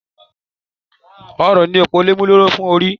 Ọrùn ni òpómúléró fún orí